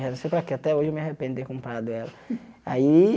Não sei para quê até hoje eu me arrependo de ter comprado ela. Aí